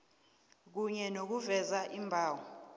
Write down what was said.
kunye nokuveza iimbalo